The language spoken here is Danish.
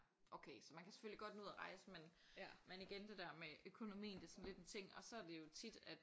Okay så man kan selvfølgelig godt nå ud og rejse men men igen det der med økonomien det er sådan lidt en ting og så er det jo tit at